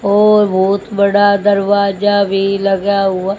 और बहोत बड़ा दरवाजा भी लग्या हुआ--